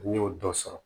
N'i y'o dɔ sɔrɔ